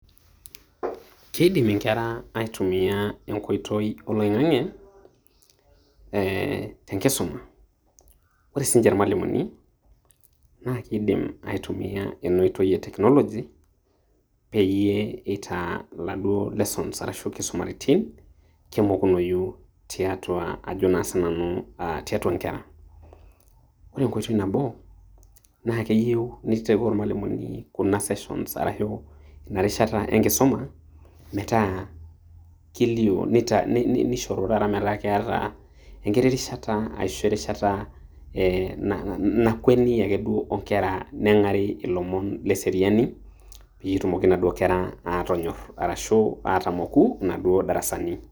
Keidim enkerra aitumia eng'otoi oleng'ang'i te enkisuma. Kore si ninche mwalimuni naa keidim aitumia ene otoi ee technology pee enye etaa laado lessons arashu nkisumaritin kemokunoyoi teatua, ajo si nanu teatua nkera. Kore ng'otoi nabo naa kenyeu naterua mwalimuni kuna sessions arashu nareshata enkisoma metaa kilio. Neshoru tata metaa kataa enkiti reshataa ashoo reshata ee nakwaanii ake o enkera neng'ari lomoon le seriani, pee tumooki naado enkera atonyor arashu atomoku nado barasani.